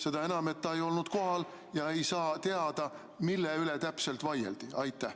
Seda enam, et ta ei olnud kohal ega saa teada, mille üle täpselt vaieldi.